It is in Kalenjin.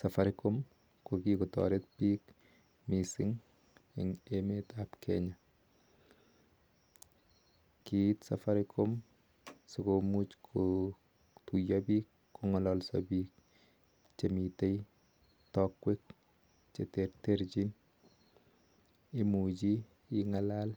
Safaricom ko kikotareet piik missing eng emet ap kenyyaa kiit safaricom sikomuuch kongalalsaa piik eng emet komuguul imuchii kora ingalal